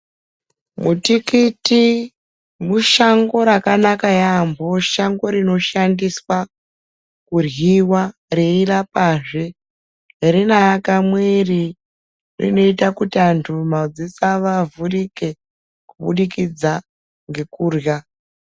Mutikiti mushango rakanaka yambo, shango rinoshandiswa kudliwa reyirapa zve. Rinakamwiri rinoita kuti antu madziso avo avhurike kubudikidza ngekudhla